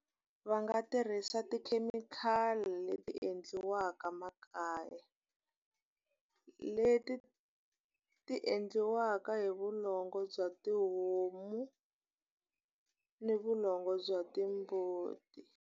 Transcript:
Va nga tirhisa tikhemikhali leti endliwaka makaya. Leti ti endliwaka hi vulongo bya tihomu, ni vulongo bya timbuti.